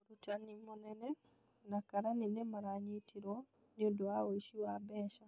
Mũrutani mũnene na karani nĩ maranyitirwo nĩũndo wa ũici wa mbeca